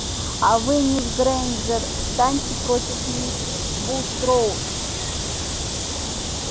а вы мисс грэйнджер встаньте против мисс булстроуд